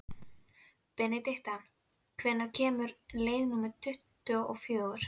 Benedikta, hvenær kemur leið númer tuttugu og fjögur?